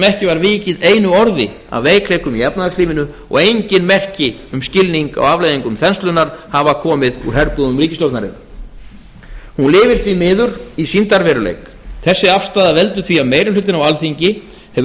ekki var vikið einu orði að veikleikum í efnahagslífinu og engin merki um skilning á afleiðingum þenslunnar hafa komið úr herbúðum ríkisstjórnarinnar hún lifir því miður í sýndarveruleika þessi afstaða veldur því að meiri hlutinn á alþingi hefur